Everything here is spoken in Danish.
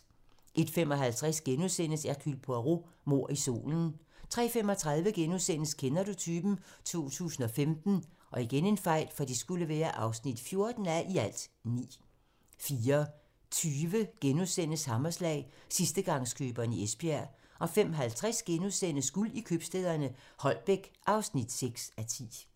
01:55: Hercule Poirot: Mord i solen * 03:35: Kender du typen? 2015 (14:9)* 04:20: Hammerslag - sidstegangskøberen i Esbjerg * 05:50: Guld i købstæderne - Holbæk (6:10)*